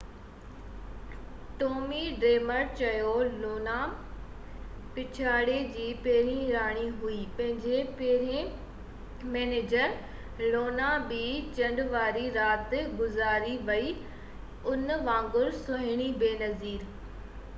Tommy Dreamer چيو Luna پڇاڙي جي پهرين راڻي هئي منهنجي پهرين مئنيجر لونا ٻہ چنڊ واري رات گذاري ويئي ان وانگر سهڻي بي نظير